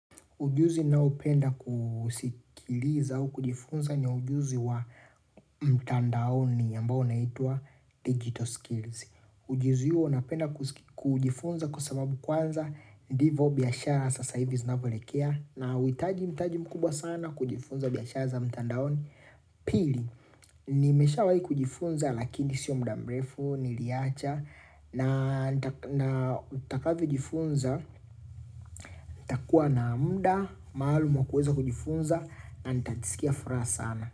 Ujuzi nao upenda kuusikiliza au kujifunza ni ujuzi wa mtandaoni ambao unaitwa digital skills. Ujuzi huo napenda kujifunza kwa sababu kwanza, ndivo biashara sasa hivi zinavolekea na hauitaji mtaji mkubwa sana kujifunza biashara za mtandaoni. Pili, nimesha wahi kujifunza lakini sio mdamrefu, niliacha na nta na utakavo jifunza, ntakua na amda, maalum kuweza kujifunza na nitajisikia furaha sana.